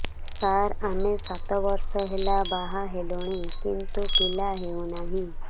ସାର ଆମେ ସାତ ବର୍ଷ ହେଲା ବାହା ହେଲୁଣି କିନ୍ତୁ ପିଲା ହେଉନାହିଁ